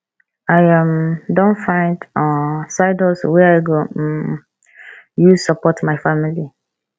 i um don find um side hustle wey i go um use support my family